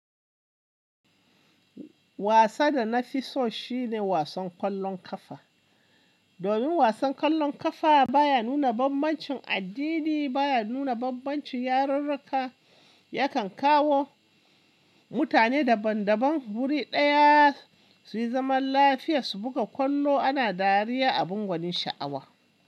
Wasa da na fi so shi ne wasan kwallon kafa. Domin wasan kwallon kafa baya nuna bambancin addini, baya nuna bambancin yarurruka, yakan kawo mutane daban daban wuri ɗaya su yi zaman lafiya su buga kwallo ana dariya a bungonin sha'awa.